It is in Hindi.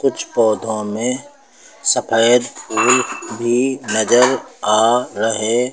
कुछ पौधों में सफेद ब्ल्यू भी नजर आ रहे--